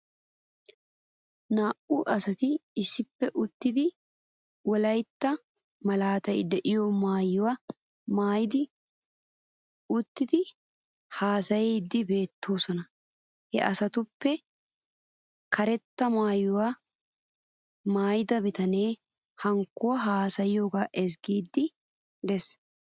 Naa'u asati issippe uttidi wolaytta malaatay de'iyoo maayuwaa maayidi uttidi haasayiiddi beettoosona. He asatuppe karettaa maayida bitanee hankkoy haasayiyoogaa ezgiiddi des.